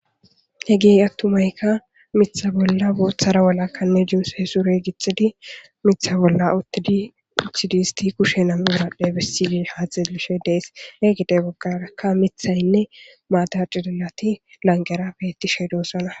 Heggeyi attumayika miththa bola boththara walaka jinse sure gixxidi miththa bolla uttidi wothidi kushen nam'u biradhen besishe desi ha xellishe de'es gede bagaraka miththayinne Mata cilliloti lanqqera bettishe dosonna.